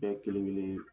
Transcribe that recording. Bɛɛ kelen kelen